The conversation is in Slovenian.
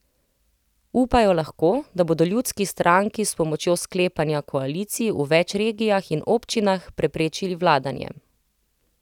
Upajo lahko, da bodo Ljudski stranki s pomočjo sklepanja koalicij v več regijah in občinah preprečili vladanje.